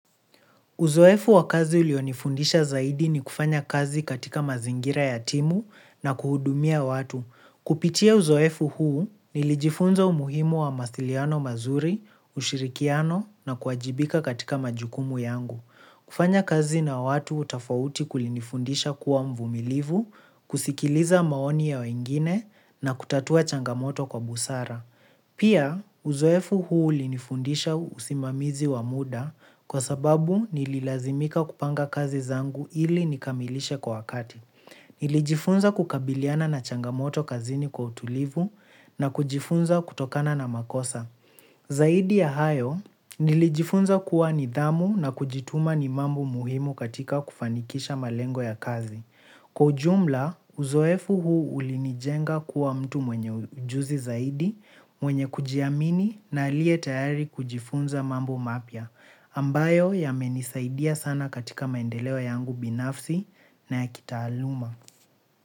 Uzoefu wa kazi ulionifundisha zaidi ni kufanya kazi katika mazingira ya timu na kuwahudumia watu. Kupitia uzoefu huu, nilijifunza umuhimu wa mawasiliano mazuri, ushirikiano na kuwajibika katika majukumu yangu. Kufanya kazi na watu tofauti kulinifundisha kuwa mvumilivu, kusikiliza maoni ya wengine na kutatua changamoto kwa busara. Pia, uzoefu huu ulinifundisha usimamizi wa muda kwa sababu nililazimika kupanga kazi zangu ili nikamilishe kwa wakati. Nilijifunza kukabiliana na changamoto kazini kwa utulivu na kujifunza kutokana na makosa. Zaidi ya hayo, nilijifunza kuwa nidhamu na kujituma ni mambo muhimu katika kufanikisha malengo ya kazi. Kwa ujumla, uzoefu huu ulinijenga kuwa mtu mwenye ujuzi zaidi, mwenye kujiamini na aliye tayari kujifunza mambo mapya, ambayo yamenisaidia sana katika maendeleo yangu binafsi na ya kitaaluma.